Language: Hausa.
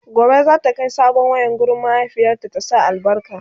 Gobe zata Kai sabon wayan wurin mahaifiyata ya sa albarka